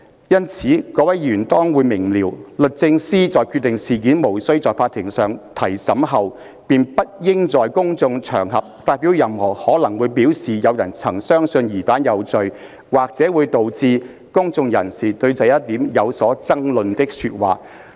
因此，各位議員當會明瞭，律政司在決定事件無須在法庭上提審後，便不應在公眾場合發表任何可能會表示有人曾相信疑犯有罪、或者會導致公眾人士對這一點有所爭論的說話。